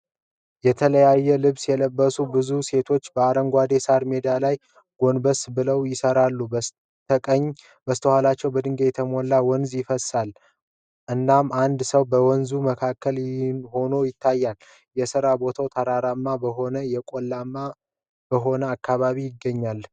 የተለያየ ልብስ የለበሱ ብዙ ሴቶች በአረንጓዴ የሳር ሜዳ ላይ ጎንበስ ብለው ይሠራሉ። በስተኋላቸው በድንጋይ የተሞላ ወንዝ ይፈስሳል፣ እናም አንድ ሰው በወንዙ መካከል ሆኖ ይታያል። የሥራው ቦታ ተራራማ በሆነና የቆላማ በሆነ አካባቢ ይገኛል።